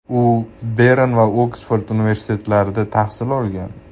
U Bern va Oksford universitetlarida tahsil olgan.